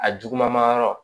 A juguman yɔrɔ